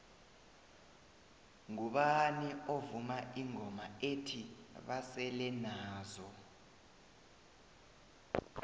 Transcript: ngubani ovuma ingoma ethi basele nazo